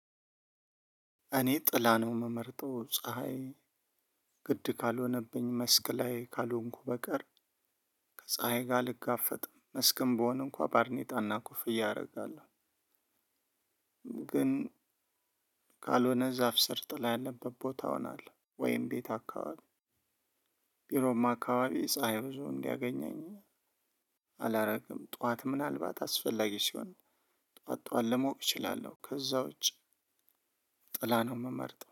እኔ ጥላ ነው የምመርጠው ፀሀይ ግድ ካልሆነብኝ መስክ ላይ ካልሆንኩ በቀር ከፀሀይ ጋር አልጋፈጥም መስክም ብሆን እንኳን ባርኔጣና ኮፍያ አደርጋለሁ። ካልሆነ ዛፍ ስር ጥላ ያለበት ቦታ እሆናለው ወይም ቤት አካባቢ ቢሮም አካባቢ ፀሀይ ብዙ እንዲያገኘኝ አላደርግም። ጠዋት ምናልባት አስፈላጊ ሲሆን ጠዋት ጠዋት ልሞቅ እችላለሁ ከዛ ውጭ ጥላ ነው የምመርጠው